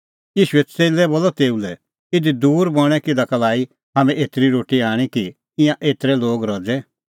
तेऊए च़ेल्लै बोलअ तेऊ लै इधी दूर बणैं हाम्हैं किधा का लाई एतरी रोटी आणी कि ईंयां एतरै लोग रज़े